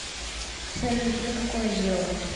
салют а тебе какое дело